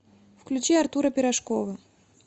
включи артура пирожкова